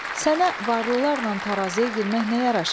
Sənə varlılarla tarazıya girmək nə yaraşar?